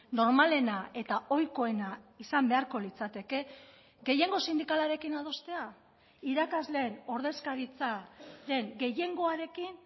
normalena eta ohikoena izan beharko litzateke gehiengo sindikalarekin adostea irakasleen ordezkaritzaren gehiengoarekin